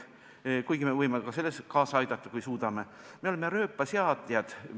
Me võime sellele kaasa aidata, kui suudame – me oleme rööpaseadjad.